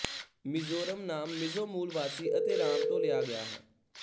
ਮਿਜ਼ੋਰਮ ਨਾਮ ਮਿਜ਼ੋ ਮੂਲ ਵਾਸੀ ਅਤੇ ਰਾਮ ਤੋਂ ਲਿਆ ਗਿਆ ਹੈ